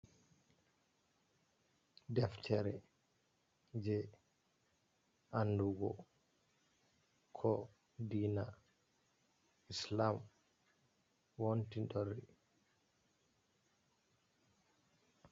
Deftere je andugo ko diina Islam wonti torri.